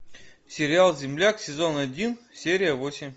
сериал земляк сезон один серия восемь